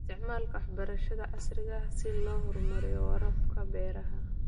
Isticmaalka waxbarashada casriga ah si loo horumariyo waraabka beeraha.